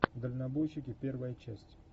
дальнобойщики первая часть